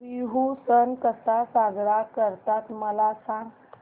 बिहू सण कसा साजरा करतात मला सांग